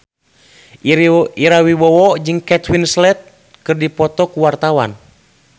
Ira Wibowo jeung Kate Winslet keur dipoto ku wartawan